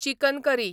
chicken curry